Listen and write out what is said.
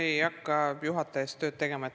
Ma ei hakka juhataja eest tööd ära tegema.